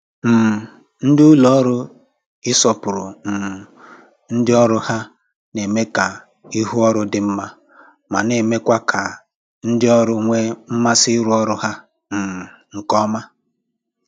um Ndị ụlọ ọrụ ịsọpụrụ um ndị ọrụ ha na-eme ka ihu ọrụ dị mma ma na-emekwa ka ndị ọrụ nwee mmasị ịrụ ọrụ ha um nke ọma